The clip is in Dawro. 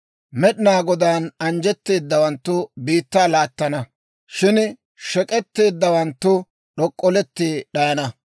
Med'inaa Godaan anjjetteedawanttu biittaa laattana; shin shek'k'etteeddawanttu d'ok'olletti d'ayana.